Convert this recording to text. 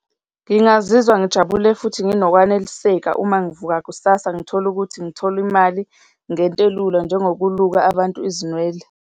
Ngingazizwa ngijabule futhi nginokwaneliseka uma ngivuka kusasa ngithole ukuthi ngithola imali ngento elula njengokuluka abantu izinwele.